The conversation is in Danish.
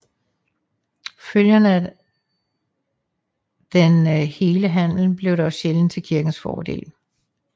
Følgerne af den hele handel blev dog sjældent til kirkens fordel